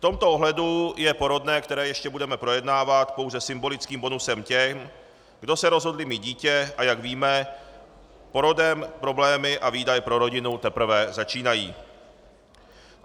V tomto ohledu je porodné, které ještě budeme projednávat, pouze symbolickým bonusem těm, kde se rozhodli mít dítě, a jak víme, porodem problémy a výdaje pro rodinu teprve začínají.